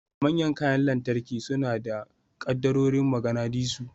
Manyan kayan lantarki suna da kaddarorin maganadisu.